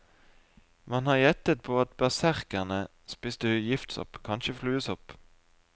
Man har gjettet på at berserkene spiste giftsopp, kanskje fluesopp.